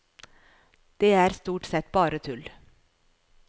Det er stort sett bare tull.